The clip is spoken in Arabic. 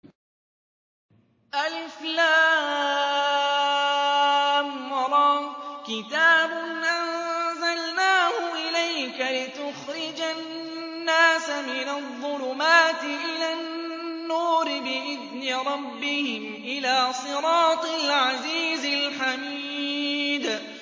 الر ۚ كِتَابٌ أَنزَلْنَاهُ إِلَيْكَ لِتُخْرِجَ النَّاسَ مِنَ الظُّلُمَاتِ إِلَى النُّورِ بِإِذْنِ رَبِّهِمْ إِلَىٰ صِرَاطِ الْعَزِيزِ الْحَمِيدِ